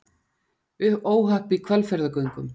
Óhapp í Hvalfjarðargöngum